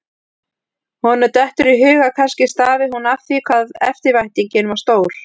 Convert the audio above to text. Honum dettur í hug að kannski stafi hún af því hvað eftirvæntingin var stór.